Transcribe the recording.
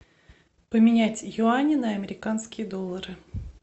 поменять юани на американские доллары